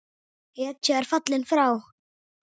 Hetja er fallin frá!